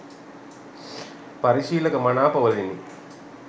පරිශීලක මනාපවලිනි